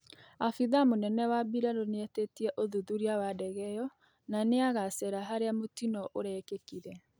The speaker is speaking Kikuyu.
Aabithaa mũnene wa bĩrarũ nĩetĩtĩe ũthũrĩa wa ndege ĩyo na nĩagacera harĩa mũtĩno ũrekĩkĩire